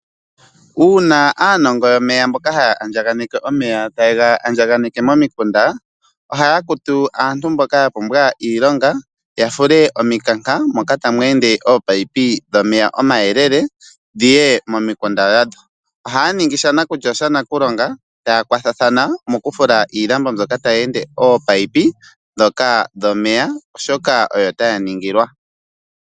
Uuna aanongo yomeya mboka ha ya andjaganeke omeya taye ga andjaganeke momikunda, oha ya kutu aantu mboka yapumbwa iilonga, yafule omi kanka moka ta mu ende ominino dhomeya omayelele dhiye momikunda dhayo, oha yaningi shanakulya oshana kulonga, taya kwathathana mokufula iilambo mbyoka ta mu ende oominino dhomeya oshoka oyo taya ningilwa.